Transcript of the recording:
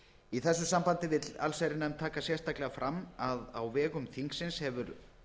í því sambandi vill allsherjarnefnd taka sérstaklega fram að á vegum þingsins hefur